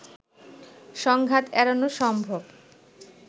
সংঘাত এড়ানো সম্ভব